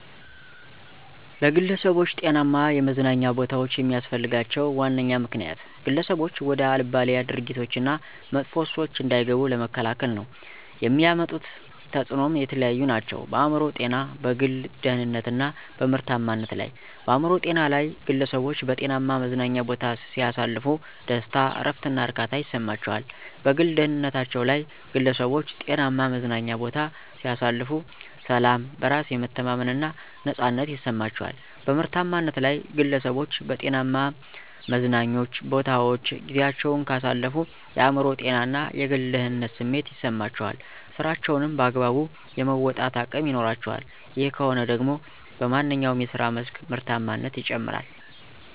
ለግለሠቦች ጤናማ የመዝናኛ ቦታዎች የሚስፈልጋቸው ዋነኛ ምክንያት፦ ግለሠቦች ወደ አልባሌ ድርጊቶች እና መጥፎ ሱሶች እንዳይገቡ ለመከላከል ነው። የሚያመጡት ተፅኖም የተለያዩ ናቸው፦ በአእምሮ ጤና፣ በግል ደህንነት እና በምርታማነት ላይ። -በአእምሮ ጤናቸው ላይ፦ ግለሠቦች በጤናማ መዝናኛ ቦታ ሲያሳልፉ ደስታ፣ እረፍት እና እርካታ ይሠማቸዋል። -በግል ደህንነታቸ ላይ ግለሠቦች ጤናማ መዝናኛ ቦታ ሲያሳልፉ፦ ሠላም፣ በራስ የመተማመን እና ነፃነት ይማቸዋል። -በምርታማነት ላይ፦ ግለሠቦች በጤናማ መዝናኞ ቦታወች ጊዚያቸውን ካሳለፉ የአእምሮ ጤና እና የግል ደህንነት ስሜት ይሠማቸዋል ስራቸውንም በአግባቡ የመወጣት አቅም ይኖራቸዋል። ይህ ከሆነ ደግሞ በማንኛው የስራ መስክ ምርታማነት ይጨምራል።